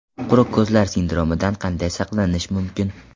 Quruq ko‘zlar sindromidan qanday saqlanish mumkin?.